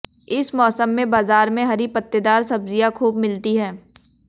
इस मौसम में बाजार में हरी पत्तेदार सब्जियां खूब मिलती हैं